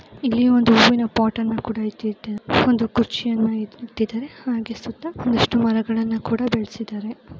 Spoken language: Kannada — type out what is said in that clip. ಇಲ್ಲಿ ಒಂದು ಹೂವಿನ ಪೊಟಾನ್ನ ಕೂಡ ಇಟ್ಟಿದಾರೆ ಒಂದು ಕುರ್ಚಿಯನ್ನ ಇಟ್ಟಿದ್ದಾರೆ ಹಾಗೆ ಸುತ್ತ ಒಂದಿಷ್ಟು ಮರಗಳನ್ನು ಕೂಡ ಬೆಳೆಸಿದ್ದಾರೆ .